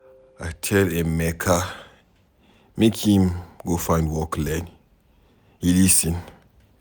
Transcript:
I tell Emeka make im go find work learn, he lis ten.